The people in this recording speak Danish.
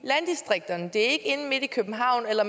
er ikke inde midt i københavn eller